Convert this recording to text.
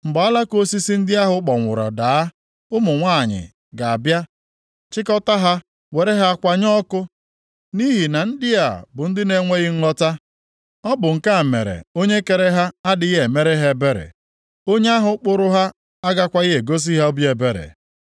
Mgbe alaka osisi ndị ahụ kpọnwụrụ daa, ụmụ nwanyị ga-abịa chịkọtaa ha were ha kwanye ọkụ. Nʼihi na ndị a bụ ndị na-enweghị nghọta. Ọ bụ nke a mere Onye kere ha adịghị emere ha ebere. Onye ahụ kpụrụ ha agakwaghị egosi ha obi ebere.